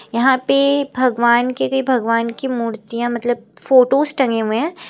यहां पे भगवान के लिए भगवान की मूर्तियां मतलब फोटोज टंगे हुए हैं।